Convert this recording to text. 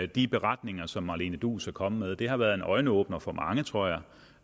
de beretninger som marlene duus er kommet med har været en øjenåbner for mange tror jeg